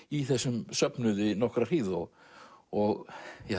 í þessum söfnuði nokkra hríð og og